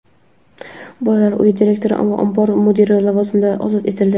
bolalar uyi direktori va ombor mudiri lavozimidan ozod etildi.